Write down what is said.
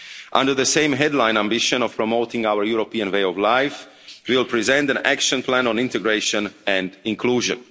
Under the same headline ambition of promoting our European way of life, we will present an action plan on integration and inclusion.